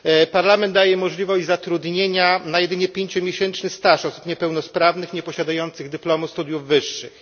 Parlament daje możliwość zatrudnienia na jedynie pięciomiesięczny staż osób niepełnosprawnych nieposiadających dyplomu studiów wyższych.